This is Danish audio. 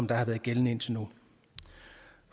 der har været gældende indtil nu